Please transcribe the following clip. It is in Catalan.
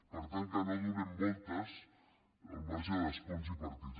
per tant que no donem voltes al marge d’escons i partits